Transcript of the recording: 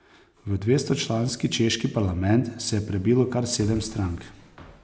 V dvestočlanski češki parlament se je prebilo kar sedem strank.